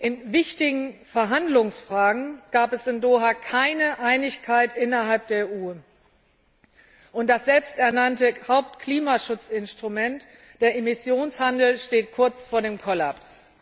In wichtigen Verhandlungsfragen gab es in Doha keine Einigkeit innerhalb der EU, und das selbst ernannte Hauptklimaschutzinstrument, der Emissionshandel, steht kurz vor dem Kollaps.